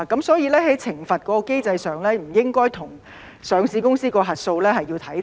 所以在懲罰機制上，不應該與上市公司的核數師看齊。